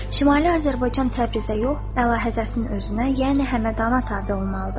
Şimali Azərbaycan Təbrizə yox, əlahəzrətin özünə, yəni Həmədana tabe olmalıdır.